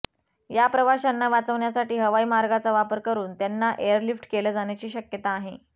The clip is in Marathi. या प्रवाशांना वाचवण्यासाठी हवाई मार्गाचा वापर करून त्यांना एअरलिफ्ट केलं जाण्याची शक्यता आहे